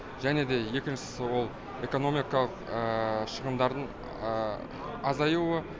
және де екіншісі ол экономикалық шығындардың азаюы